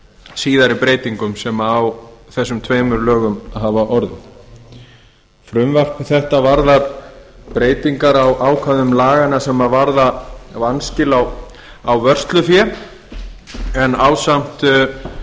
síðari breytingum sem á þessum tvennum lögum hafa orðið frumvarp þetta varðar breytingar á ákvæðum laganna sem varða vanskil á vörslufé en